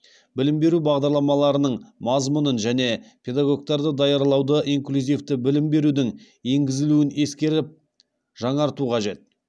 білім беру бағдарламаларының мазмұнын және педагогтарды даярлауды инклюзивті білім берудің енгізілуін ескеріп жаңарту қажет